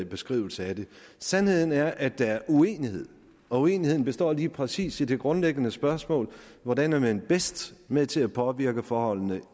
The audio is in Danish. beskrivelse af det sandheden er at der er en uenighed og uenigheden består lige præcis i det grundlæggende spørgsmål hvordan er man bedst med til at påvirke forholdene